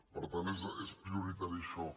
per tant és prioritari això